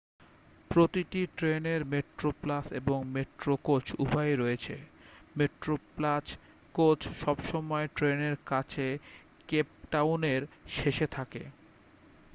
প্রতিটি ট্রেনের মেট্রোপ্লাস এবং মেট্রো কোচ উভয়ই রয়েছে মেট্রোপ্লাস কোচ সবসময় ট্রেনেরকাছের কেপটাউন এর শেষে থাকে